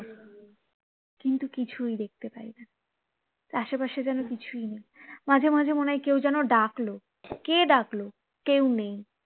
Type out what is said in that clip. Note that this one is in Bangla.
কিন্তু কিছুই দেখতে পাই না আসে পাশে যেন কিছুই নেই মাঝে মাঝে মনে হয় কেউ যেন ডাকলো কে ডাকলো কেউ নেই